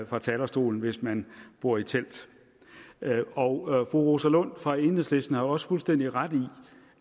fra talerstolen hvis man bor i telt og fru rosa lund fra enhedslisten har jo også fuldstændig ret i